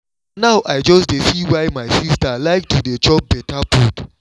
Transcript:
na now i just dey see why my sister like to dey chop better food